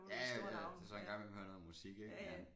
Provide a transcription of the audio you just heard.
Ja ja så en gang imellem hører jeg noget musik ik men